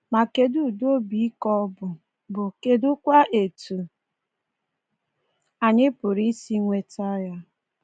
Ma kedụ ụdị obi ike ọ bụ, bụ, kedụkwa etu anyị pụrụ isi nweta ya?